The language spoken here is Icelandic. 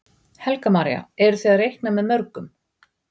Helga María: Eru þið að reikna með mörgum?